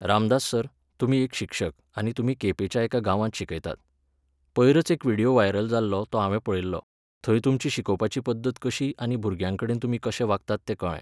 Ramdas sir, तुमी एक शिक्षक आनी तुमी केपेंच्या एका गांवांत शिकयतात. पयरच एक विडिओ वायरल जाल्लो तो हांवें पळयल्लो. थंय तुमची शिकोपाची पद्दत कशी आनी भुरग्यांकडेन तुमी कशे वागतात तें कळ्ळें.